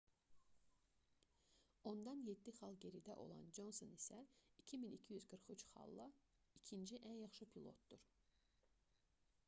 ondan 7 xal geridə olan conson isə 2243 xalla ikinci ən yaxşı pilotdur